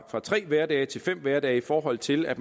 tre hverdage til fem hverdage i forhold til at